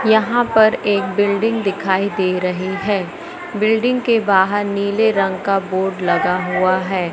यहां पर एक बिल्डिंग दिखाई दे रही है बिल्डिंग के बाहर नीले रंग का बोर्ड लगा हुआ है।